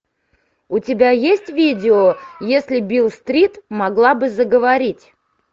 у тебя есть видео если бил стрит могла бы заговорить